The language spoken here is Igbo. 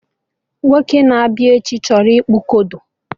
Nwoke na-abịa echi chọrọ ịkpụ kodo